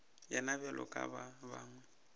yena bjalo ka ba bangwe